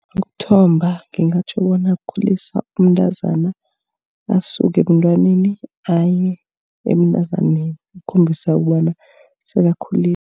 Ukuthomba ngingatjho bona kukhulisa umntazana asuke ebantwaneni aye ebuntazaneni ukukhombisa kobana sekakhulile.